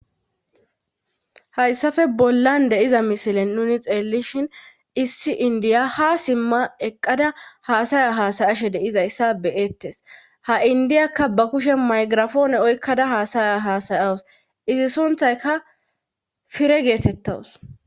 hayssafe bollan deiza misilen nuni xeellishin issi indiya ha simma eqqada haasaya haasayashe deizayssa beyettes ha indiyakka ba kushe maygirafoone oykkada haasaya hasayawus izi sunthayka fire geetettawus